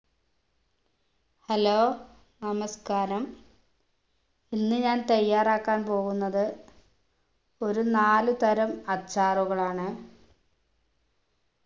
hello നമസ്‍കാരം ഇന്ന് ഞാൻ തയ്യാറാക്കാൻ പോകുന്നത് ഒരു നാലുതരം അച്ചാറുകളാണ്